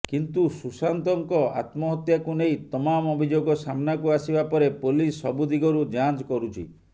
କିନ୍ତୁ ସୁଶାନ୍ତଙ୍କ ଆତ୍ମହତ୍ୟାକୁ ନେଇ ତମାମ ଅଭିଯୋଗ ସାମ୍ନାକୁ ଆସିବା ପରେ ପୋଲିସ ସବୁ ଦିଗରୁ ଯାଞ୍ଚ କରୁଛି